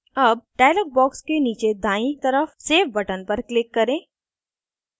अब dialog box के नीचे दायीं तरफ save button पर click करें